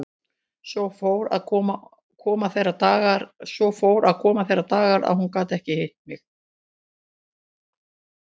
Svo fóru að koma þeir dagar að hún gat ekki hitt mig.